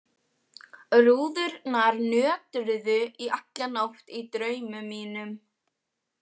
Rúðurnar nötruðu í alla nótt í draumum mínum.